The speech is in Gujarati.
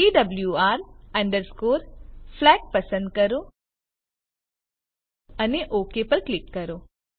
PWR અંડરસ્કોરFLAG પસંદ કરો અને ઓક પર ક્લિક કરો